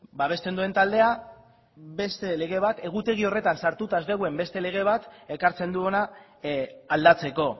babesten duen taldea beste lege bat egutegi horretan sartuta ez dagoen beste lege bat ekartzen du hona aldatzeko